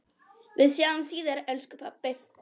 Við sjáumst síðar elsku pabbi.